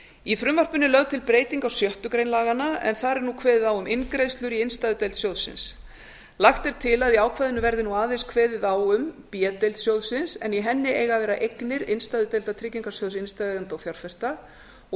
í frumvarpinu er lögð til breyting á sjöttu grein laganna en þar er nú kveðið á um inngreiðslur í innstæðudeild sjóðsins lagt er til að í ákvæðinu verði aðeins kveðið á um b deild sjóðsins en í henni eiga að vera eignir innstæðudeildar tryggingasjóðs innstæðueigenda og fjárfesta og